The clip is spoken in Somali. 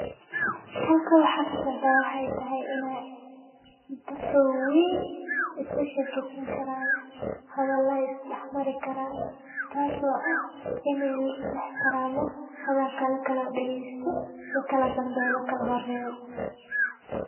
Halka waxa ka socda, waxay tahay in ay dadka weyn isla sheekeysan karaan. Hadala is dhexmari karaan, taas oo ah inay lis ixtiramo hadalada la kala dhageysto na kala dambeeya la kala horeeyo.